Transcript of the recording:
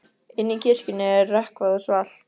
Inni í kirkjunni er rökkvað og svalt.